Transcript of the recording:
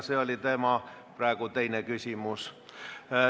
See oli tema teine küsimus.